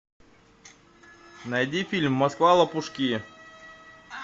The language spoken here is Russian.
найди фильм москва лопушки